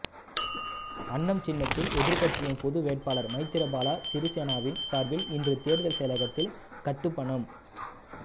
அன்னம் சின்னத்தில் எதிர்கட்சிகளின் பொது வேட்பாளர் மைத்திரிபால சிறிசேனவின் சார்பில் இன்று தேர்தல் செயலகத்தில் கட்டுப்பணம்